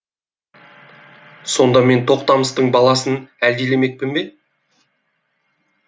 сонда мен тоқтамыстың баласын әлдилемекпін бе